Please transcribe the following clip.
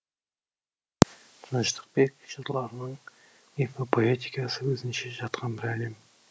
тыныштықбек жырларының мифопоэтикасы өзінше жатқан бір әлем